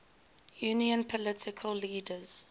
union political leaders